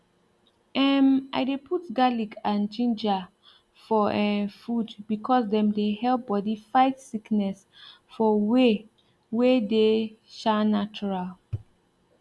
em i dey put garlic and ginger for um food because dem dey help bodi fight sickness for way wey dey um natural